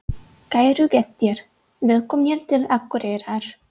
Kæru gestir! Velkomnir til Akureyrar.